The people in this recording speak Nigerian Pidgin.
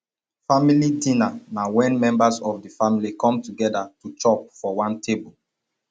family dinner na when members of di family come together to chop for one table